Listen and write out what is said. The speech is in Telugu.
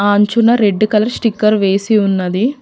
అంచున రెడ్ కలర్ స్టిక్కర్ వేసి ఉన్నది.